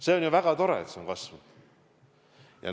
See on ju väga tore, et see on kasvanud.